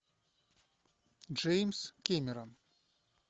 джеймс кемерон